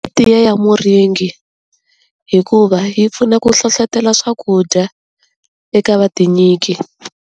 Tiya ya muringi, hikuva yi pfuna ku hlohlotela swakudya eka va tinyiki.